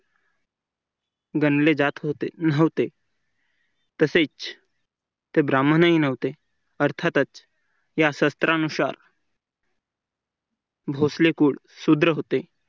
गणले जात नव्हते तसेच ते ब्राह्मणही नव्हते अर्थातच या सत्रा नुसार भोसले कुळ सुद्र होते.